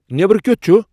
نیبرٕ کِیُتھ چُھ؟